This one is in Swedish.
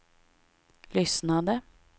lyssnade